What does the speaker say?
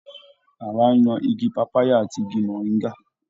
Hawa yan igi pàpáyà àti igi mọ̀ríńgà.